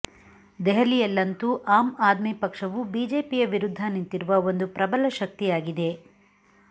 ದೆಹಲಿಯಲ್ಲಂತೂ ಆಮ್ ಆದ್ಮಿ ಪಕ್ಷವು ಬಿಜೆಪಿಯ ವಿರುದ್ಧ ನಿಂತಿರುವ ಒಂದು ಪ್ರಬಲ ಶಕ್ತಿಯಾಗಿದೆ